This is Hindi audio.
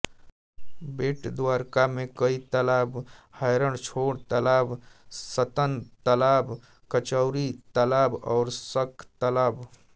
बेटद्वारका में कई तालाब हैरणछोड़ तालाब रत्नतालाब कचौरीतालाब और शंखतालाब